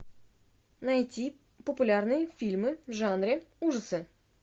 найти популярные фильмы в жанре ужасы